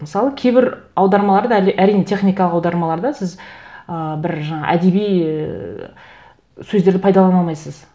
мысалы кейбір аудармаларды әрине техникалық аудармаларды сіз ыыы бір жаңа әдеби ііі сөздерді пайдалана алмайсыз